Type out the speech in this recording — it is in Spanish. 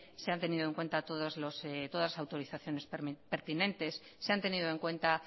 se han tenido en cuenta todas las autorizaciones pertinentes se han tenido en cuenta